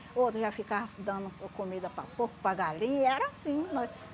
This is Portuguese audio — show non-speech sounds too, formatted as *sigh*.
O outro já ficava dando comida para porco, para galinha, era assim. *unintelligible*